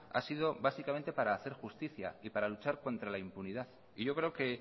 ha sido básicamente para hacer justicia y para luchar contra la impunidad y yo creo que